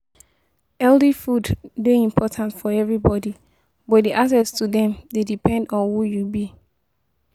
Healthy food dey important for everybody, but di access to dem dey depend on who you be.